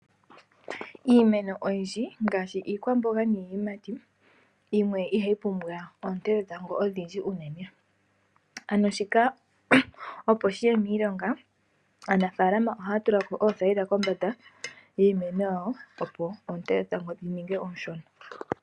Iimeno oyindji ngaashi iikwamboga niiyimati yimwe ihayi pumbwa oonte dhetango odhindji uunene, ano shika opo shiye miilonga aanafaalama ohaya tuluka oothayila kombanda yiimeno yawo opo oonte dhetango dhininge ooshona.